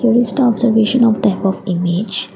list of the observation of type of image.